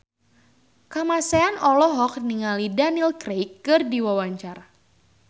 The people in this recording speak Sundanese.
Kamasean olohok ningali Daniel Craig keur diwawancara